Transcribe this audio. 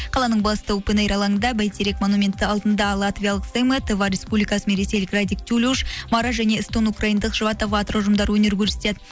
қаланың басты алаңында бәйтерек манументі алдында латвиялық республикасы мен ресейлік радик тулюж мара және эстондық украйндық ұжымдары өнер көрсетеді